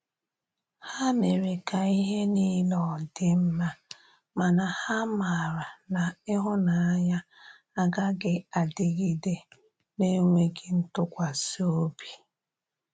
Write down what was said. Ha mere ka ihe nile ọdi mma, mana ha mara na ihunanya agaghi adịgide n'enweghi ntụkwasi ọbị.